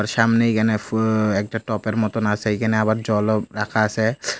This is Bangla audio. সামনে এখানে ফু একটা টপের মতন আসে এইখানে আবার জলও রাখা আসে।